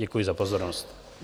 Děkuji za pozornost.